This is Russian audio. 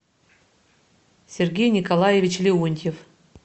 сергей николаевич леонтьев